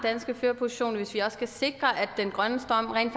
danske førerposition og hvis vi også skal sikre at den grønne strøm rent